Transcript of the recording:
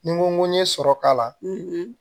Ni n ko n ye sɔrɔ k'a la